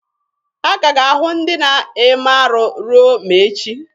A ka ga-ahụ ndị na-eme arụ ruo ma echi.